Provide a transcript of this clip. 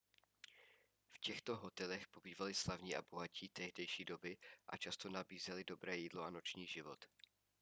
v těchto hotelech pobývali slavní a bohatí tehdejší doby a často nabízely dobré jídlo a noční život